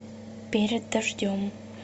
перед дождем